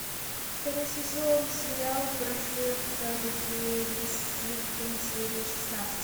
второй сезон сериал прожекторперисхилтон серия шестнадцать